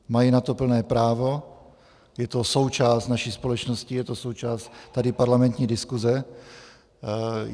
Mají na to plné právo, je to součást naší společnosti, je to součást tady parlamentní diskuze.